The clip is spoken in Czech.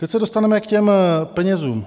Teď se dostaneme k těm penězům.